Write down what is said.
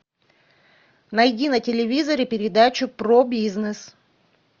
найди на телевизоре передачу про бизнес